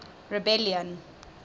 rebellion